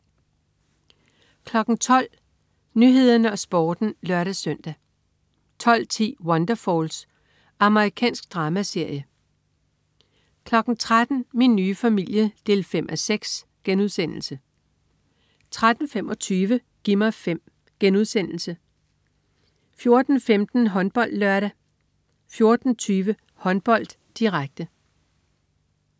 12.00 Nyhederne og Sporten (lør-søn) 12.10 Wonderfalls. Amerikansk dramaserie 13.00 Min nye familie 5:6* 13.25 Gi' mig 5* 14.15 HåndboldLørdag 14.20 Håndbold, direkte